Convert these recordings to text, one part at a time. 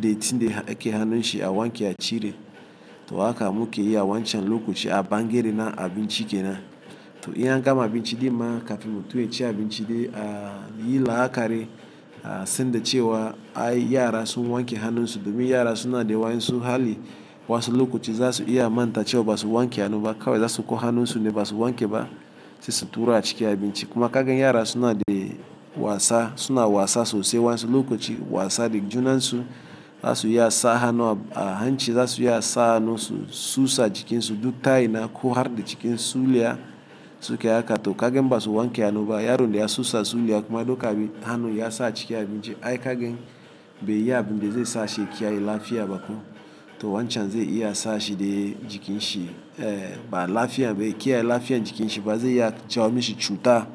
dattin da yake hannun shi a wanke a cire. To haka muke yi a wancan lokoci a bangare na abinci kenan. To in an gama abinci ɗin ma, kafin mutum ya ci abinci ɗai, a yi la'akari a san da cewa ai yara sun wanke hannun su domi yara suna da wayansu hali wasu lokoci za su iya manta cewa ba su wanke hannu ba. Kawai za su kau hannun su ne, ba su wanke ba sai su tura a ciki abin ci. Kuma kagan yara suna dai wasa suna wasa sosai wayansu lokoci wasa da junansu, za su iya sa hannu a hanci, za su iya sa hannu su susa jikinsu, duk ta ina ko har da cikin suliya suke haka. To kagan in ba su wanke hannu ba, yaron da ya susa suliya kuma ya doka hannu ya sa a ciki abinci. Ai kagan bai yi abin da zai sa shi ya kiyaye lafiya ba ko. To wancan ze iya sa shi dai, jikin shi ba lafiya bai kiyaye lafiya jikin shi ba zai iya jawo mishi cuta,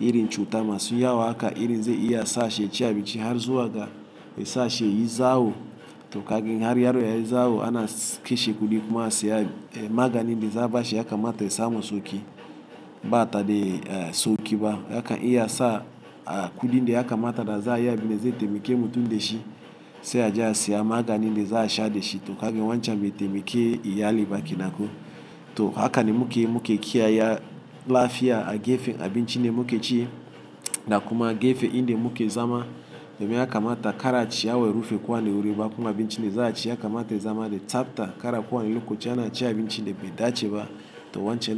iri cuta masu yawa haka iri zai iya sa shi ya ci abinci har zuwa ga ya sa shi yayi zawo. To kagan har yaro ya yi zawo, ana kashe kuɗi kuma a siya magani da za a bashe ya kamata ya samu sauki bata da sauki ba. Zaka iya sa, kuɗi da ya kamata da za a yi abin da zai taimake mutum da shi, sai aje a siya magani da za a sha da shi. To kagan wancan bai taimake iyali ba kenan ko. To haka ne muke yi, muke kiyaye lafiya a gefen abinci da muke ci, da kuma a gefen inda muke zama, domin ya kamata kara ciyawa ya rufe kowane wuri ba, kuma abinci ɗa za a ci ya kamata ya zama da tsafta kara kowane lokoci ana ci abinci da bai dace ba. To wancan ne shi.